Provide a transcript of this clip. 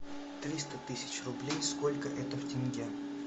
триста тысяч рублей сколько это в тенге